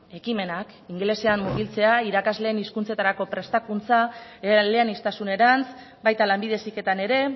ekimenak ingelesean mugitzean irakasleen hizkuntzetarako prestakuntza eleaniztasunerantz baita lanbide heziketan ere